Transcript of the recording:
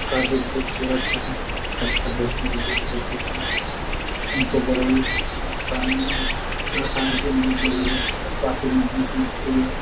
काफी खुबसूरत हैं। पत्थर बहुत मजबूत होते हैं। उनको बड़े ही आसान आसानी से तोड़ा नहीं जा सकता काफी मेहनत लगती है। काफी मजबूत होते हैं।